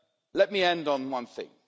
Let me end on one thing.